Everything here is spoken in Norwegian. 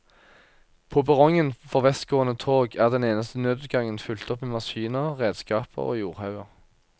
På perrongen for vestgående tog er den eneste nødutgangen fylt opp med maskiner, redskaper og jordhauger.